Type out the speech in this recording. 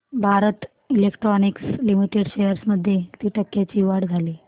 Bharat electronics limited shares मध्ये किती टक्क्यांची वाढ झाली